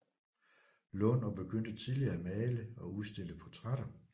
Lund og begyndte tidligt at male og udstille portrætter